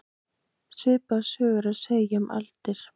Svipaða sögu er að segja um aldir.